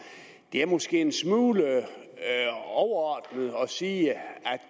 det er måske en smule overordnet at sige at